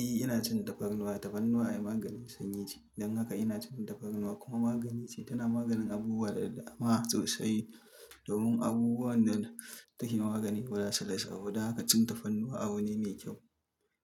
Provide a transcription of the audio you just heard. Eh ina cin tafarnuwa, tafarnuwa ayi maganin sanyi ce don haka ina cin tafarnuwa kuma magani ce, tana maganin abubuwa da dama sosai. Domin abubuwan da take magani guda talatin da shida, don haka cin tafarnuwa abu ne mai kyau.